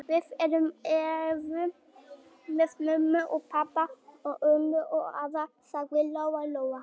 Við erum ellefu með mömmu og pabba og ömmu og afa, sagði Lóa-Lóa.